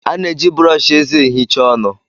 A na-eji brọsh eze ehicha ọnụ.